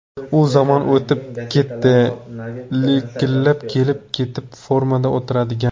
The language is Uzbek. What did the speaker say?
U zamon o‘tib ketdi likillab kelib-ketib, formada o‘tiradigan.